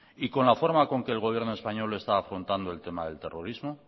y con la forma con que el gobierno español está afrontando el tema del terrorismo